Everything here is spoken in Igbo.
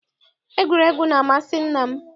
Egwuregwu na-amasị nna m.